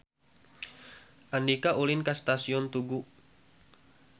Andika ulin ka Stasiun Tugu